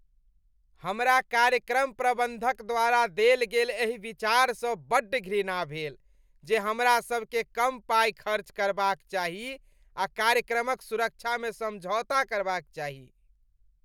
हमरा कार्यक्रम प्रबन्धक द्वारा देल गेल एहि विचारसँ बड्ड घृणा भेल जे हमरासभकेँ कम पाइ खर्च करबाक चाही आ कार्यक्रमक सुरक्षामे समझौता करबाक चाही।